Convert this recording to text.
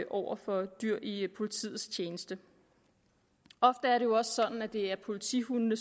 over for dyr i politiets tjeneste ofte er det jo også sådan at det er politihundene